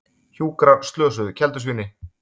Hjúkrar slösuðu keldusvíni